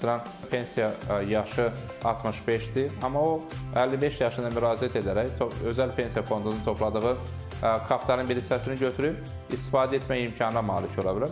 Məsələn, pensiya yaşı 65-dir, amma o 55 yaşından müraciət edərək özəl pensiya fondunda topladığı kapitalın bir hissəsini götürüb istifadə etmək imkanına malik ola bilər.